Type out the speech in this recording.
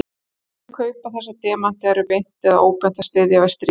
Þeir sem kaupa þessa demanta eru beint eða óbeint að styðja við stríð.